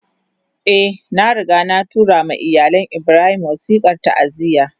Eh, na riga na tura ma iyalin Ibrahim wasikar ta'aziyya